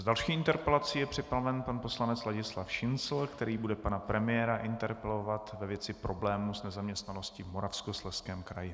S další interpelací je připraven pan poslanec Ladislav Šincl, který bude pana premiéra interpelovat ve věci problémů s nezaměstnaností v Moravskoslezském kraji.